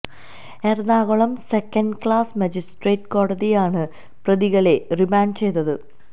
Ernakulam second class magistrate കോടതിയാണ് പ്രതികളെ remand ചെയ്തത്